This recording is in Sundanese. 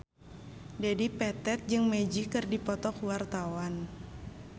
Dedi Petet jeung Magic keur dipoto ku wartawan